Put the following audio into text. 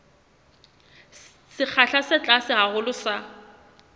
sekgahla se tlase haholo sa